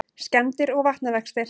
Skemmdir og vatnavextir